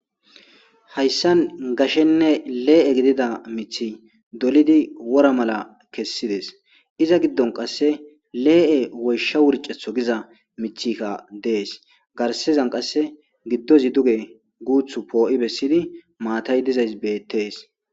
hayssan gashenne lee7e gidida mithi dolidi wora mala kessides iza giddon qasse lee7e woysha wurcetho giza mithikka dees garsezan qasse giddozi duge guuthu poo7i bessidi maatay dizays beettees